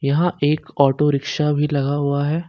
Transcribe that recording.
यहां एक auto rickshaw भी लगा हुआ है।